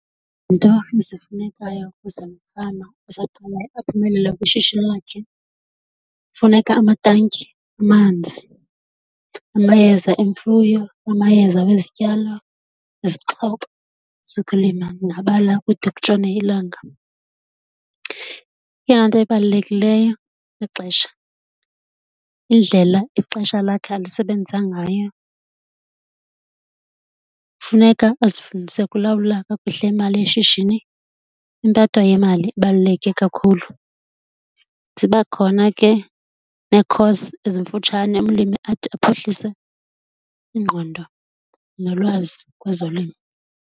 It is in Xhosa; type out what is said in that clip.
ezifunekayo ukuze umfama osaqalayo aphumelele kwishishini lakhe, kufuneka amatanki amanzi, amayeza emfuyo namayeza wezityalo, izixhobo zokulima, ndingabala kude kutshone ilanga. Eyona nto ibalulekileyo lixesha, indlela ixesha lakhe alisebenza ngayo, funeka azifundise ukulawula kakuhle imali yeshishini, impatho yemali ibaluleke kakhulu. Ziba khona ke nee-course ezimfutshane umlimi athi aphuhlise ingqondo nolwazi kwezolimo.